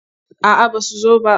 A'aba su zo ba.